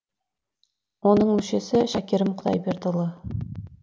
оның мүшесі шәкерім құдайбердіұлы